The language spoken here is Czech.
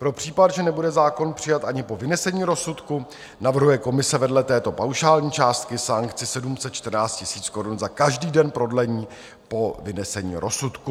Pro případ, že nebude zákon přijat ani po vynesení rozsudku, navrhuje komise vedle této paušální částky sankci 714 000 korun za každý den prodlení po vynesení rozsudku.